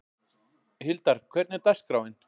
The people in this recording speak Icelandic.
Hildar, hvernig er dagskráin?